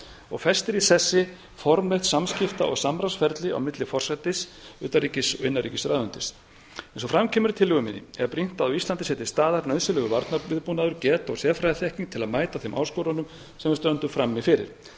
og festir í sessi formenn samskipta og samráðsferli á milli forsætis og utanríkis og innanríkisráðuneytis eins og fram kemur í tillögu minni er brýnt að á íslandi sé til staðar nauðsynlegur varnarviðbúnaður geta og sérfræðiþekking til að mæta þeim áskorunum sem við stöndum frammi fyrir við þurfum